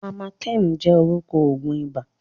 Amatem jẹ́ orúkọ òògùn ibà.